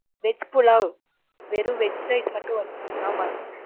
veg pulao. வெறும் veg rice மட்டும் வந்திருக்கு ஆமா sir